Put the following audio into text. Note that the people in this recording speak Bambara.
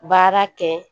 Baara kɛ